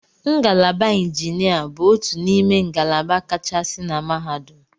Ngalaba injinia bụ otu n'ime ngalaba kachasị na mahadum.